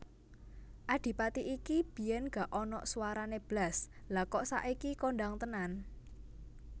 Adipati iki biyen gak onok suarane blas lha kok saiki kondang tenan